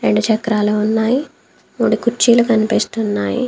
రెండు చక్రాలు ఉన్నాయి. మూడు కుర్చీలు కనిపిస్తున్నాయి.